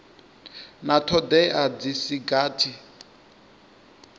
na thodea dzi si gathi